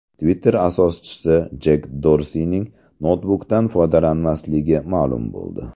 Twitter asoschisi Jek Dorsining noutbukdan foydalanmasligi ma’lum bo‘ldi.